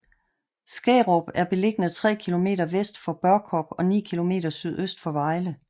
Skærup er beliggende tre kilometer vest for Børkop og ni kilometer sydøst for Vejle